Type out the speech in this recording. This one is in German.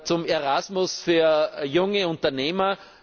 auch zu ERASMUS für junge Unternehmer!